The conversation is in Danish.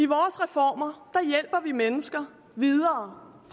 vores reformer hjælper vi mennesker videre